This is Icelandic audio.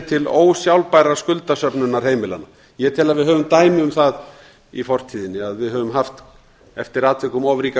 til ósjálfbærrar skuldasöfnunar heimilanna ég tel að við höfum dæmi um það í fortíðinni að við höfum haft eftir atvikum of ríka